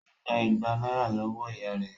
Ó gba ìgbà náírà lọ́wọ́ ìyá rẹ̀